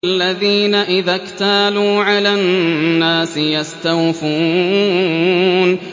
الَّذِينَ إِذَا اكْتَالُوا عَلَى النَّاسِ يَسْتَوْفُونَ